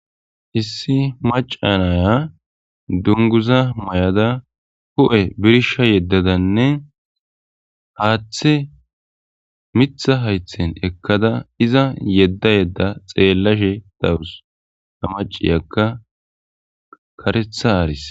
Issi maca naya dunguza may'ada huIe birsha yeddadanne haaththe mitha haythen ekkada iza yedda yedda xeellashe dawus a maciyagga karetha aaris.